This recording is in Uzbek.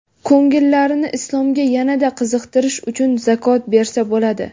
ko‘ngillarini Islomga yanada qiziqtirish uchun zakot bersa bo‘ladi.